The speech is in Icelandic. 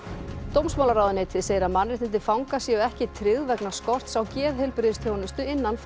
dómsmálaráðuneytið segir að mannréttindi fanga séu ekki tryggð vegna skorts á geðheilbrigðisþjónustu innan